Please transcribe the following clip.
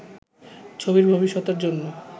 ছবির ভবিষ্যতের জন্য